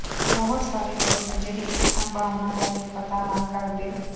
ਬਹੁਤ ਸਾਰੇ ਲੋਕ ਅਜਿਹੇ ਇੱਕ ਸੰਭਾਵਨਾ ਬਾਰੇ ਪਤਾ ਨਾ ਕਰਦੇ